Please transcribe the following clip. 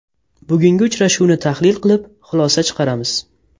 Bugungi uchrashuvni tahlil qilib, xulosa chiqaramiz.